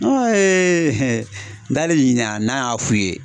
n dali ɲininka n'a y'a f'u ye?